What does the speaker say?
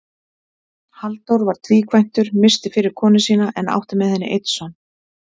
Halldór var tvíkvæntur, missti fyrri konu sína en átti með henni einn son.